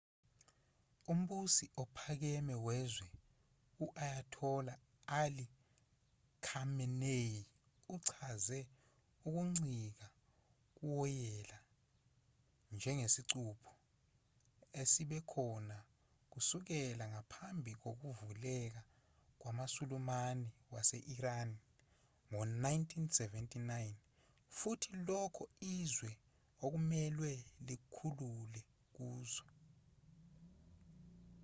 umbusi ophakeme wezwe u-ayatollah ali khamenei uchaze ukuncika kuwoyela njengesicupho esibe khona kusukela ngaphambi kokuvukela kwamasulumane wase-iran ngo-1979 futhi lokho izwe okumelwe lizikhulule kukho